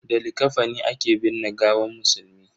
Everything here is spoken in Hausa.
Da likafani ake binne gawan musulmi.